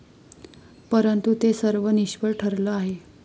परंतु ते सर्व निष्फळ ठरलं आहे.